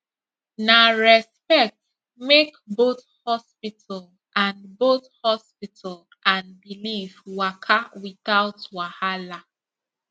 na respect make both hospital and both hospital and belief waka without wahala